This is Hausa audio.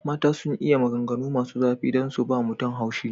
Mata sun iya maganganu masu zafi don su ba mutum haushi.